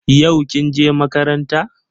Yau kin je makaranta?